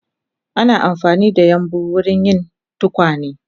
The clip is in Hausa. Ana amfanida yambu wurin yin tukwane